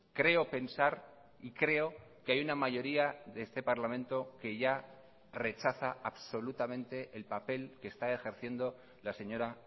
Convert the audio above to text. creo pensar y creo que hay una mayoría de este parlamento que ya rechaza absolutamente el papel que está ejerciendo la señora